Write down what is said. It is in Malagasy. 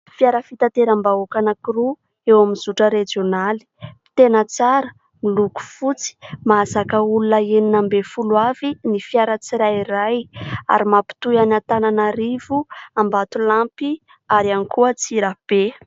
Fiara fitateram-bahoaka anankiroa eo amin'ny zotra rejionaly, tena tsara miloko fotsy mahazaka olona enina ambin'ny folo avy ny fiara tsirairay ary mampitohy any Antananarivo, Ambatolampy, ary iany koa Antsirabe.